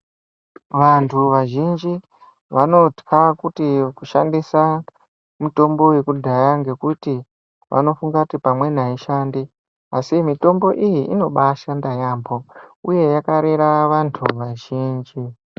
Anhu vazhinji vanotya kushandisa mitombo yekudhaya ngekuti vanofunga kuti pamweni haishandi asi mitombo iyi inoshanda yaamho uye yakarera vanhu vazhinji